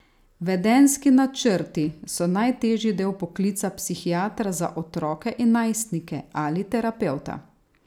Vedenjski načrti so najtežji del poklica psihiatra za otroke in najstnike ali terapevta.